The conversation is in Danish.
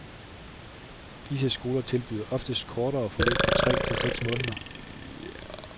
Disse skoler tilbyder oftest kortere forløb på tre til seks måneder.